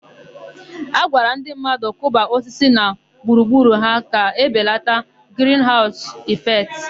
A gwara ndị mmadụ kụba osisi na gburugburu ha ka ebelata grinhaụsụ ịfektị.